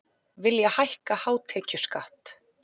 Vilja hækka hátekjuskatt